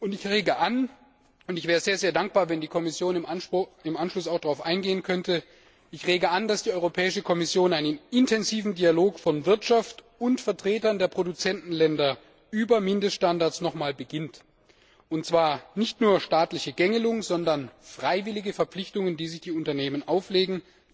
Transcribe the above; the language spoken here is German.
Ich rege an und ich wäre sehr dankbar, wenn die Kommission im Anschluss auch darauf eingehen könnte dass die Europäische Kommission noch einmal einen intensiven Dialog von Wirtschaft und Vertretern der Produzentenländer über Mindeststandards beginnt und zwar nicht nur staatliche Gängelung, sondern freiwillige Verpflichtungen, die sich die Unternehmen auferlegen.